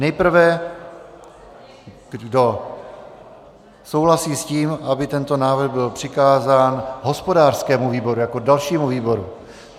Nejprve kdo souhlasí s tím, aby tento návrh byl přikázán hospodářskému výboru jako dalšímu výboru.